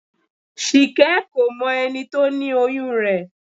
Ṣìkẹ́ kò mọ ẹni tó ni oyún rẹ̀